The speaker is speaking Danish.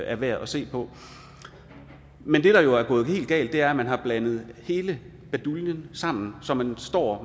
er værd at se på men det der jo er gået helt galt er at man har blandet hele baduljen sammen så man står